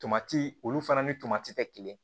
Tomati olu fana ni tomati tɛ kelen